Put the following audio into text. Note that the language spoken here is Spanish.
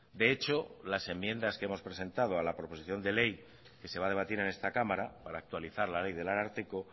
de hecho las enmiendas que hemos presentado a la proposición de ley que se va a debatir en esta cámara para actualizar la ley del ararteko